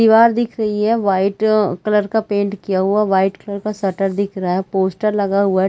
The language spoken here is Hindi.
दिवार दिख रही है वाइट कलर का पेंट किया हुआ वाइट कलर का शटर दिख रहा है पोस्टर लगा हुआ है।